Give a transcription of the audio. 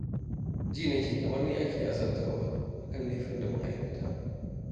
Ji na nake kamar ni ce ake azabtarwa a kan laifin da ban aikata ba